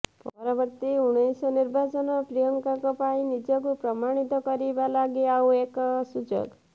ପରବର୍ତ୍ତୀ ଊଣେଇଶ ନିର୍ବାଚନ ପ୍ରିୟଙ୍କାଙ୍କ ପାଇଁ ନିଜକୁ ପ୍ରମାଣିତ କରିବା ଲାଗି ଆଉ ଏକ ସୁଯୋଗ